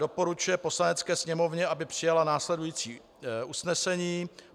Doporučuje Poslanecké sněmovně, aby přijala následující usnesení: